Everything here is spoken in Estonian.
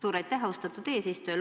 Suur aitäh, austatud eesistuja!